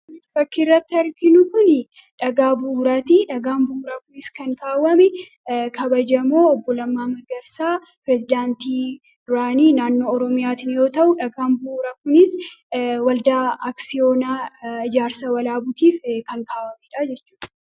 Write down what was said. Fakkii irratti arginu kun, dhagaa buraatii. Dhagaan bu'uuraa kunis kan kaawwame kabajamoo Obbo Lammaa Magarsaa Pireezidaantii duraanii naannoo Oromiyaa yoo ta'u, dhagaan bu'uuraa kunis, Waldaa Aksiyoonaa ijaarsa walaabutiif kan kaawamedhaa jechuudha.